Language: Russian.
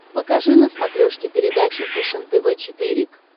покажи на смотрешке передачу фэшен тв четыре к